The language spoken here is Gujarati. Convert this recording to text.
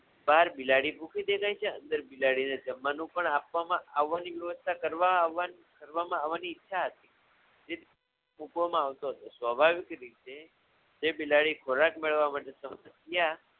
બહાર બિલાડી ભૂખી દેખાય છે અંદર બિલાડીને જમવાનું પણ આપવામાં આવવાની વ્યવસ્થા કરવા આવવાની કરવામા આવવાની ઈચ્છા હતી મૂકવામા હતો સ્વભાવિક રીતે જે બિલાડી ખોરાક મેળવવા માટે તડપતી ત્યાં